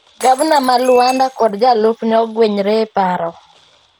Gabna ma Luanda kod jalupne ogwenyre e paro